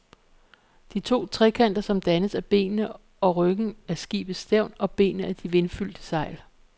De to trekanter, som dannes af benene og ryggen er skibets stævn og benene de vindfyldte sejl.